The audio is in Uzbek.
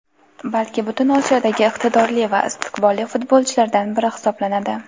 balki butun Osiyodagi iqtidorli va istiqbolli futbolchilardan bir hisoblanadi.